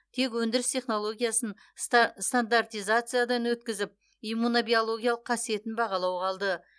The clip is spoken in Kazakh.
тек өндіріс технологиясын стандартизациядан өткізіп иммунобиологиялық қасиетін бағалау қалды